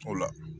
O la